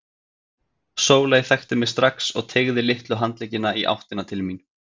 Sóley þekkti mig strax og teygði litlu handleggina í áttina til mín.